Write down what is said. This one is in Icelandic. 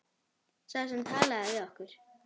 Sá sem talaði við okkur.